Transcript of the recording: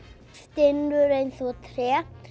stinnur eins og tré